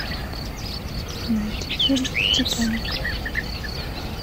найди фильм титаник